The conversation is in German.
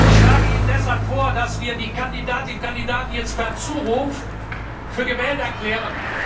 Ich schlage Ihnen deshalb vor, dass wir die Kandidatinnen und Kandidaten jetzt per Zuruf für gewählt erklären.